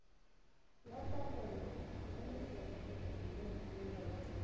ya taelo ya lekgetho dineo